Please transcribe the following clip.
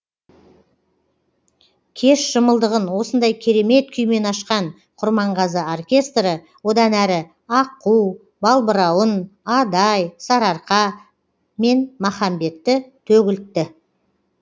кеш шымылдығын осындай керемет күймен ашқан құрманғазы оркестрі одан әрі аққу балбырауын адай сарыарқа мен махамбетті төгілтті